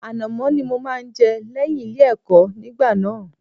Ànàmọ́ ni mo máa ń jẹ lẹ́yìn Ilé-ẹ̀kọ́ nígbà náà.